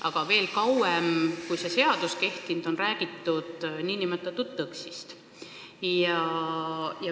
Aga veel kauem, kui see seadus on kehtinud, on räägitud nn TÕKS-ist.